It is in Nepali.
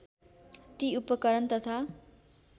ती उपकरण तथा